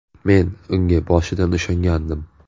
Men unga boshidan ishongandim.